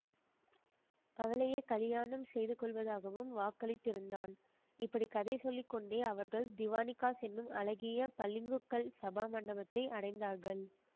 அவளையே கலியாணம் செய்து கொள்வதாகவும் வாக்களித்திருந்தான் இப்படி கதை சொல்லி கொண்டே அவர்கள் திவானிகாஸ் என்னும் அழகிய பளிங்குக்கல் சபா மண்டபத்தை அடைந்தார்கள்